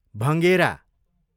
भँगेरा